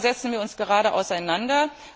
Union? Damit setzen wir uns gerade auseinander.